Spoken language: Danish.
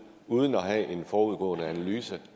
uden at have en forudgående analyse